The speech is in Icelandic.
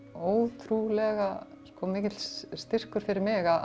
ótrúlega mikill styrkur fyrir mig að